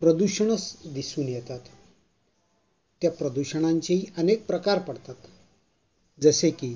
प्रदूषण दिसून येतात. त्या प्रदूषणाचे अनेक प्रकार असतात. जसे की